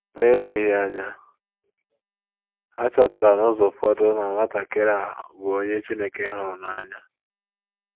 * Ma eleghị anya, ha chọpụtara n’ụzọ ụfọdụ na nwatakịrị a bụ onye Chineke hụrụ n'anya.